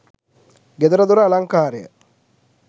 ගෙදර දොර අලංකාරය